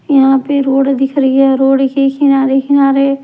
यहाँ पे रोड दिख रही है रोड के किनारे किनारे--